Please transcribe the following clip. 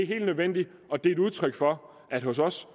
helt nødvendigt og et udtryk for at hos os